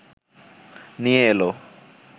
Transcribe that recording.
নিয়ে এল